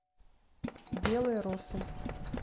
белые росы